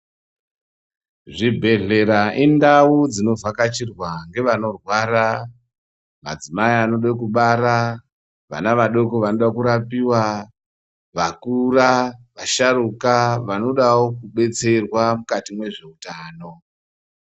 Zvibhehlera indau dzinovhakachirwa ngeanorwara, madzimai anoda kubara vana vadoko vanoda kurapiwa, vakura vasharukwa anodawo kudetserwa mukati mwezveutano.